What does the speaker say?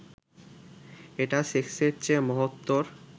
এটা সেক্সের চেয়ে মহত্তর